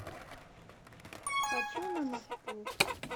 хочу на мосту